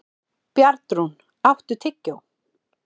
Bjarnrún, áttu tyggjó?